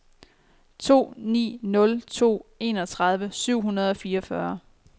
to ni nul to enogtredive syv hundrede og fireogfyrre